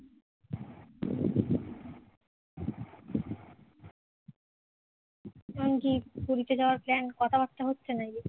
এখন কি পুরীতে যাওয়ার plan কথাবার্তা হচ্ছে নাকি